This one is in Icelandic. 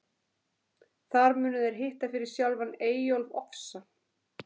Þar munu þeir hitta fyrir sjálfan Eyjólf ofsa.